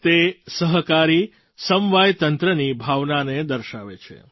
તે સહકારી સમવાયતંત્રની ભાવનાને દર્શાવે છે